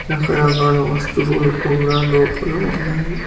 రకరకాల వస్తువులు కూడా లోపల ఉన్నవి.